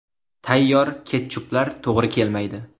Tayyor ketchuplar to‘g‘ri kelmaydi.